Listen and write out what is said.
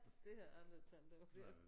Det har jeg aldrig tænkt over